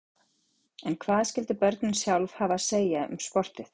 En hvað skyldu börnin sjálf hafa að segja um sportið?